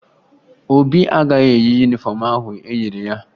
Obi agaghị eyi yunifọmụ ahụ e nyere ya